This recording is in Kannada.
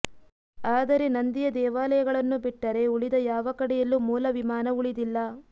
ಆದರೆ ನಂದಿಯ ದೇವಾಲಯಗಳನ್ನು ಬಿಟ್ಟರೆ ಉಳಿದ ಯಾವ ಕಡೆಯಲ್ಲೂ ಮೂಲವಿಮಾನ ಉಳಿದಿಲ್ಲ